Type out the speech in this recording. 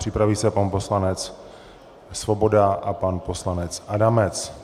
Připraví se pan poslanec Svoboda a pan poslanec Adamec.